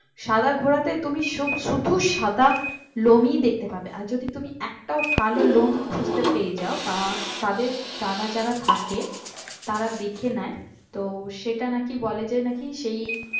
সাদা ঘোড়াতে তুমি শু শুধু সাদা লোম ই দেখতে পাবে আর যদি তুমি একটাও কালো লোম খুঁজতে পেয়ে যাও বা কাদের তারা যারা থাকে তারা দেখে নেয় তো সেটা নাকি বলে যে নাকি সেই